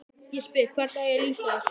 Ég spyr: Hvernig á ég að lýsa þessu?